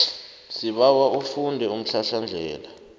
sibawa ufunde umhlahlandlela